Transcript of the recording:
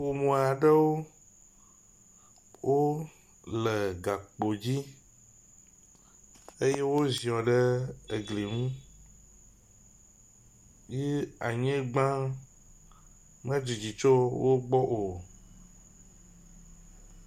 ƒumaɖewo wóle gakpo dzi eye woziɔ ɖe egli ŋu ye anyigbã me dzidzi tso wógbɔ o